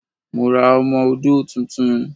Mo ra ọmọ-odó tuntun